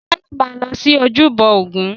Táyọ̀ máa lọ sí ojúbọ ògún.